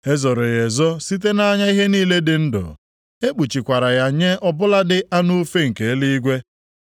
E zoro ya ezo site nʼanya ihe niile dị ndụ, e kpuchikwara ya nye ọ bụladị anụ ufe nke eluigwe.